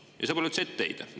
Ja see pole üldse etteheide.